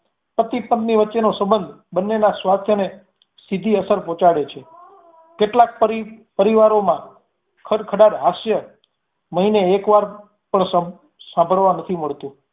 પતિ પત્ની વચ્ચેનો સંબંધ બન્નેનાં સ્વાસ્થ્ય ને સીધી અસર પહોચાડે છે કેટલાક પરિવારોંમા ખડખડાટ હાસ્ય મહિને એક વાર પણ સાંભળવા નથી મળતું